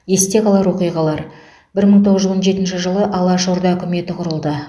есте қалар оқиғалар бір мың тоғыз жүз он жетінші жылы алаш орда үкіметі құрылды